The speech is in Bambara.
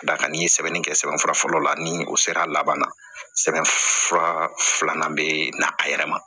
Ka d'a kan n'i ye sɛbɛnni kɛ sɛbɛnfura fɔlɔ la ni o sera a laban na sɛbɛn fura filanan bɛ na a yɛrɛ ma